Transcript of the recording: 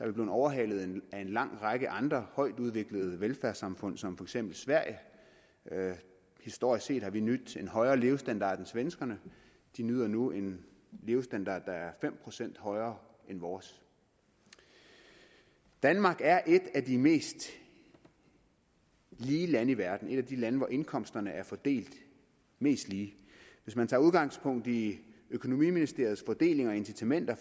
vi blevet overhalet af en lang række andre højtudviklede velfærdssamfund som for eksempel sverige historisk set har vi nydt en højere levestandard end svenskerne de nyder nu en levestandard der er fem procent højere end vores danmark er et af de mest lige lande i verden et af de lande hvor indkomsterne er fordelt mest lige hvis man tager udgangspunkt i økonomiministeriets fordeling og incitamenter